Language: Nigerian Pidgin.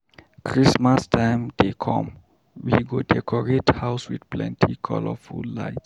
Christmas time dey come, we go decorate house with plenty colorful lights.